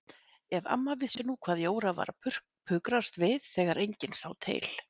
Ef amma vissi nú hvað Jóra var að pukrast við þegar enginn sá til!